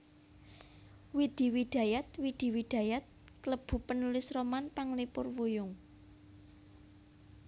Widi Widajat Widi Widayat klebu penulis roman panglipur wuyung